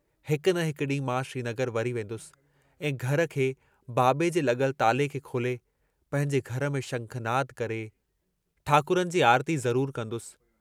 हिक न हिक डींहुं मां श्रीनगर वरी वेन्दुस ऐं घर खे बाबे जे लगल ताले खे खोले पंहिंजे घर में शंखानन्द करे ठाकुरनि जी आरती ज़रूर कंदुसि।